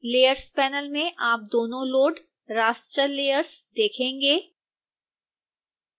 layers panel में आप दोनों लोड़ raster layers देखेंगे